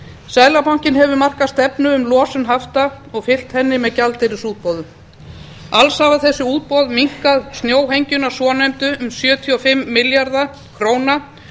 seðlabankinn hefur markað stefnu um losun hafta og fylgt henni með gjaldeyrisútboðum alls hafa þessi útboð minnkað snjóhengjuna svonefndu um sjötíu og fimm milljarða króna